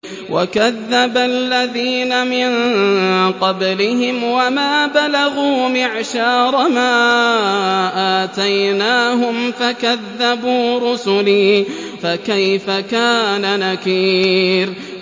وَكَذَّبَ الَّذِينَ مِن قَبْلِهِمْ وَمَا بَلَغُوا مِعْشَارَ مَا آتَيْنَاهُمْ فَكَذَّبُوا رُسُلِي ۖ فَكَيْفَ كَانَ نَكِيرِ